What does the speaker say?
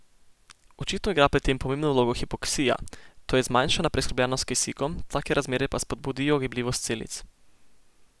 Očitno igra pri tem pomembno vlogo hipoksija, to je zmanjšana preskrbljenost s kisikom, take razmere pa spodbudijo gibljivost celic.